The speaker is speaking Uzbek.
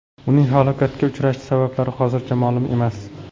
Uning halokatga uchrashi sabablari hozircha ma’lum emas.